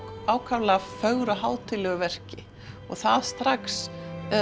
ákaflega fögru og hátíðlegu verki það strax